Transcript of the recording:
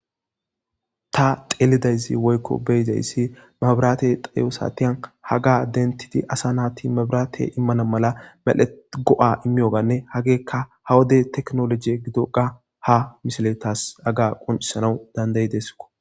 Ta tsellida issi woyko be'eda issi, mabrate tsayo satiyan haga dentidi asa nati mabrate immana mala go'etiyoga imyoganne hageka ha wode teknoloje giddon ha misiliyaas hagga qonccisanna danddayesiko.